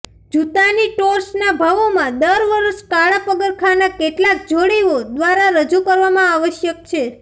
જૂતાની સ્ટોર્સના ભાવોમાં દર વર્ષે કાળા પગરખાંના કેટલાંક જોડીઓ દ્વારા રજૂ કરવામાં આવશ્યક છે